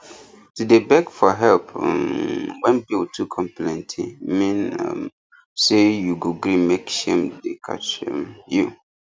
to dey beg for help um when bill too come plenty mean um say you go gree mek shame dey catch um you